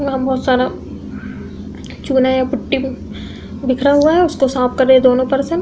यहाँ बहोत सारा चुने का पट्टी बिखरा हुआ है। उसको साफ कर रहें है दोनों पर्सन ।